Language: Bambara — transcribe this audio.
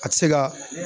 A ti se ka